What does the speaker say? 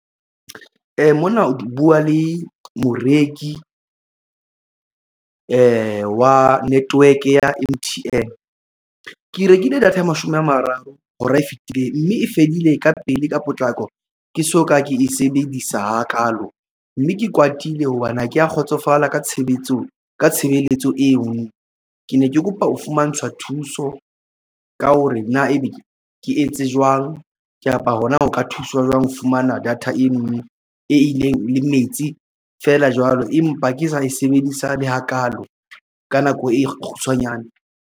Mona o buwa le moreki wa network ya M_T_N. Ke rekile data ya mashome a mararo hora e fetileng mme e fedile ka pele ka potlako. Ke soka ke e sebedisa hakalo mme ke kwatile hobane ha ke ya kgotsofala ka tshebetso ka tshebeletso eo, ke ne ke kopa ho fumantshwa thuso ka hore na ebe ke etse jwang kapa hona ho ka thuswa jwang ho fumana data eno e ileng le metsi fela jwalo empa ke sa e sebedisa le hakalo ka nako e kgutshwanyane.